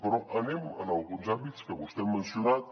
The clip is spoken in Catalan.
però anem a alguns àmbits que vostè ha mencionat